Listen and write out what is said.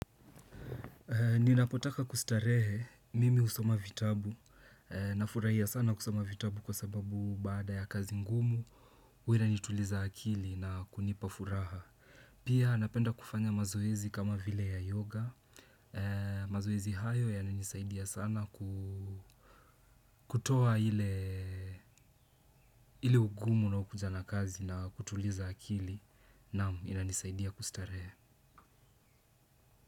Ninapotaka kustarehe, mimi husoma vitabu, na furahia sana kusoma vitabu kwa sababu baada ya kazi ngumu, huwa inanituliza akili na kunipa furaha. Pia napenda kufanya mazoezi kama vile ya yoga, mazoezi hayo yananisaidia sana kutoa ile ugumu unaokuja na kazi na kutuliza akili, naamu, inanisaidia kustarehe.